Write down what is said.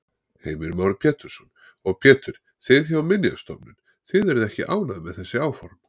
Heimir Már Pétursson: Og Pétur, þið hjá Minjastofnun, þið eruð ekki ánægð með þessi áform?